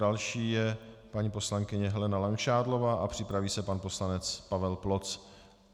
Další je paní poslankyně Helena Langšádlová a připraví se pan poslanec Pavel Ploc.